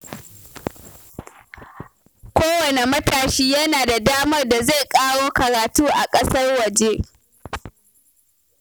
Kowanne matashi yana da damar da zai ƙaro karatu a ƙasar waje